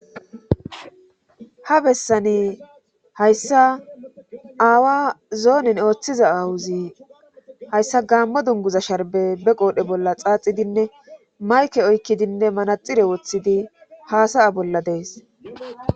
ha bessani hayssa aawa zoonen ooththiza aawuzi hayssa gaammo dunguza sharbe be qoodhe bolla xaaxidinne mayke oykkidinne manaxire woththidi haasaya bolla dees